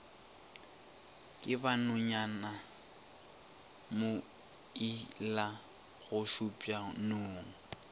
ke ba nonyana mailagošupša nong